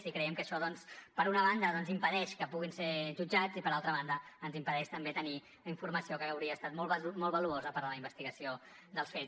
i creiem que això doncs per una banda impedeix que puguin ser jutjats i per altra banda ens impedeix també tenir informació que hauria estat molt valuosa per a la investigació dels fets